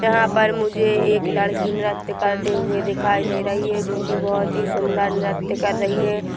यहाँ पर मुझे एक लड़की नृत्य करते हुए दिखाई दे रही हैं जो कि बहुत ही सुंदर नृत्य कर रही है।